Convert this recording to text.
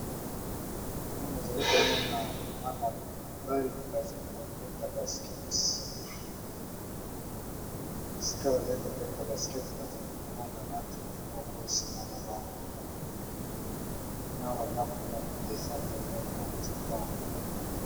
Wana na zali ko mona bana mibali ba zali ko beta basket . Esiika ba zali ko beta basket na zali ko mona na nzete moko, sima na bango ya monene na ba ndaku moko eza pembeni ya nzete yango .